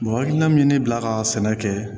Mɔgɔ hakilina min ye ne bila ka sɛnɛ kɛ